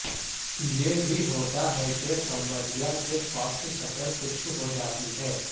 یہ بھی ہوتا ہے کہ سمبریا کی فاسٹ شکل خشک ہوجاتی ہے